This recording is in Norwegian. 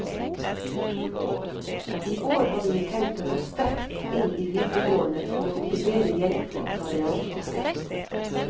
I år har vi tenkt å gå sterkt inn i videregående for å motivere jenter til å ta realfag.